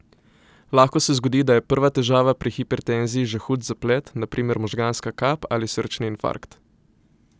Lahko se zgodi, da je prva težava pri hipertenziji že hud zaplet, na primer možganska kap ali srčni infarkt.